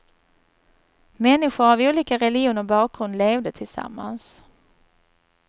Människor av olika religion och bakgrund levde tillsammans.